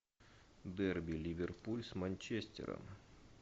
дерби ливерпуль с манчестером